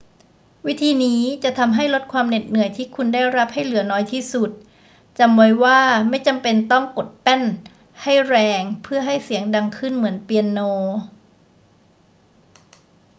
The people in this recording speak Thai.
วิธีนี้จะทำให้ลดความเหน็ดเหนื่อยที่คุณได้รับให้เหลือน้อยที่สุด จำไว้ว่าไม่จำเป็นต้องกดแป้นให้แรงเพื่อให้เสียงดังขึ้นเหมือนเปียโน